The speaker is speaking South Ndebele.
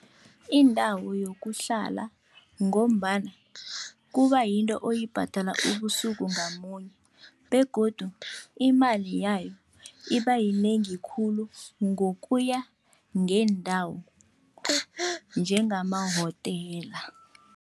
Indawo yokuhlala ngombana kuba yinto oyibhadala ubusuku ngamunye begodu imali yayo iba yinengi khulu ngokuya ngeendawo njengamahotela.